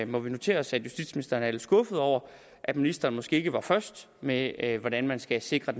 må vi notere os at justitsministeren er lidt skuffet over at ministeren måske ikke var først med et hvordan man skal sikre